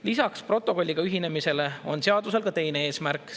Lisaks protokolliga ühinemisele on seadusel ka teine eesmärk.